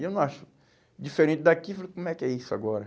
E eu não acho diferente daqui, falei, como é que é isso agora?